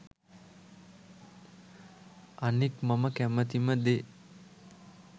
අනික් මම කැමතිම දේ